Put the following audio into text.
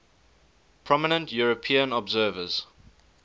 prominent european observers